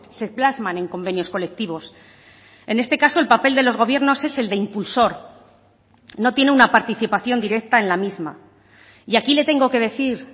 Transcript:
se plasman en convenios colectivos en este caso el papel de los gobiernos es el de impulsor no tiene una participación directa en la misma y aquí le tengo que decir